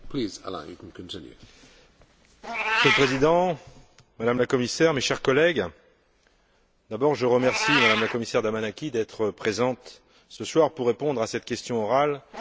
Monsieur le Président, Madame la Commissaire, mes chers collègues, d'abord je remercie Madame la Commissaire Damanaki d'être présente ce soir pour répondre à cette question orale sur la stratégie pour la région atlantique.